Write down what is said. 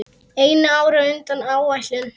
Einu ári á undan áætlun.